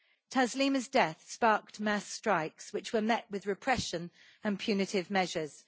Taslima's death sparked mass strikes, which were met with repression and punitive measures.